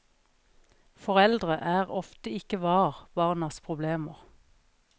Foreldre er ofte ikke vár barnas problemer.